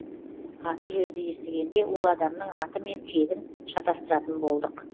аты жөнді естігенде ол адамның аты мен тегін шатасыратын болдық